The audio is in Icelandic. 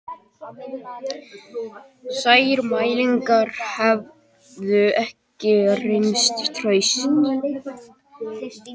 Þær mælingar hefðu ekki reynst traustar